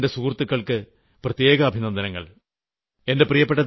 അലിഗഡിലെ എന്റെ സുഹൃത്തുകൾക്ക് പ്രത്യേക അഭിനന്ദനങ്ങൾ